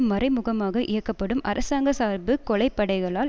மறைமுகமாக இயக்கப்படும் அரசாங்க சார்பு கொலை படைகளால்